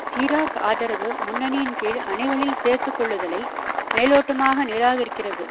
சிராக் ஆதரவு முன்னணியின் கீழ் அணிகளில் சேர்த்து கொள்ளுதலை மேலோட்டமாக நிராகரிக்கிறது